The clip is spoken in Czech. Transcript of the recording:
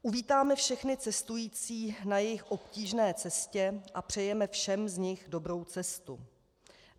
Uvítáme všechny cestující na jejich obtížné cestě a přejeme všem z nich dobrou cestu.